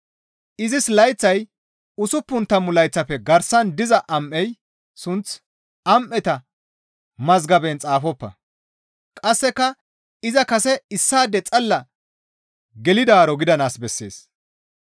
Izis layththay usuppun tammu layththafe garsan diza am7ey sunth am7eta mazgaban xaafoppa; qasseka iza kase issaade xalla gelidaaro gidanaas bessees.